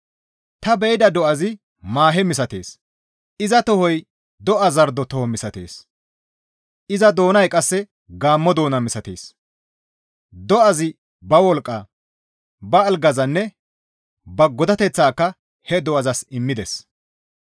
Ta be7ida do7azi maahe misatees; iza tohoy do7a zardo toho misatees; iza doonay qasse gaammo doona misatees; dawezi ba wolqqaa, ba algazanne ba godateththaaka he do7azas immides.